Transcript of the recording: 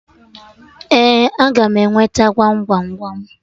Ee, a ga m enweta Gwam Gwam Gwam